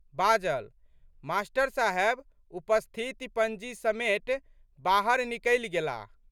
बाजल। मा.साहेब उपस्थिति पंजी समेटि बाहर निकलि गेलाह।